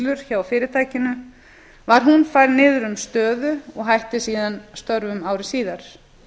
bókhaldsmisfellur hjá fyrirtækinu var hún færð niður um stöðu og hætti síðan störfum ári síðar